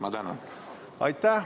Aitäh!